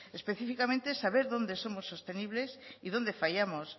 específicamente saber dónde somos sostenibles y dónde fallamos